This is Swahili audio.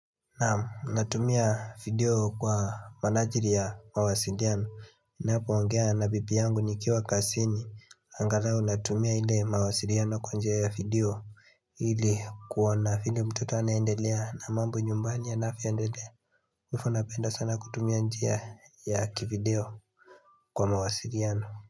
Naam, natumia video kwa manajiri ya mawasiliano ninapo ongea na bibi yangu nikiwa kazini Angalau natumia ile mawasiliano kwa njia ya video ili kuona vile mtoto anaendelea na mambo nyumbani yanavyoendelea Halafu napenda sana kutumia njia ya kivideo kwa mawasiliano.